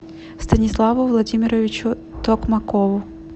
станиславу владимировичу токмакову